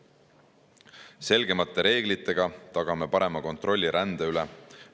Selgemate reeglitega tagame parema kontrolli rände üle.